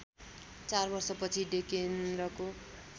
चार वर्षपछि डेकेन्द्रको